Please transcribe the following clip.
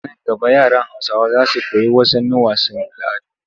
Nan gaba yaran Hausawa za su koyi wasanin wasu al'adun